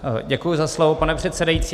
Děkuju za slovo, pane předsedající.